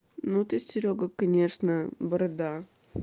ну ты серёга конечно борода